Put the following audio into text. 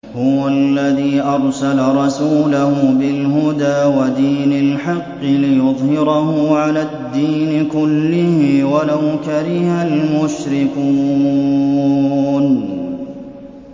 هُوَ الَّذِي أَرْسَلَ رَسُولَهُ بِالْهُدَىٰ وَدِينِ الْحَقِّ لِيُظْهِرَهُ عَلَى الدِّينِ كُلِّهِ وَلَوْ كَرِهَ الْمُشْرِكُونَ